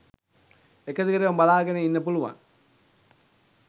එක දිගටම බලාගෙන ඉන්න පුළුවන්